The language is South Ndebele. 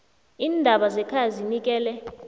iindaba zekhaya zinikele